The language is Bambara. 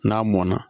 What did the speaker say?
N'a mɔnna